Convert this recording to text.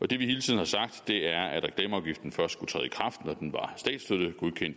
det vi hele tiden har sagt er at reklameafgiften først skulle træde